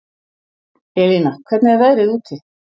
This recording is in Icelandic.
Elína, hvernig er veðrið úti?